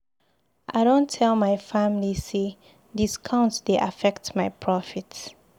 I don tell my family say discount dey affect my profit.